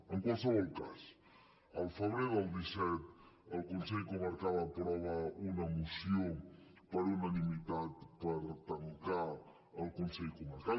en qualsevol cas el febrer del disset el consell comarcal aprova una moció per unanimitat per tancar el consell comarcal